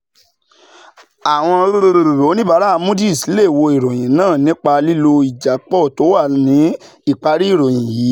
àwọn oníbàárà moody's lè wo ìròyìn náà nípa lílo ìjápọ̀ tó wà ní ìparí ìròyìn yìí.